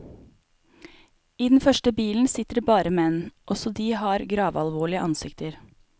I den første bilen sitter det bare menn, også de har gravalvorlige ansikter.